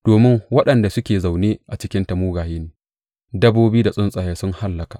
Domin waɗanda suke zaune cikinta mugaye ne, dabbobi da tsuntsaye sun hallaka.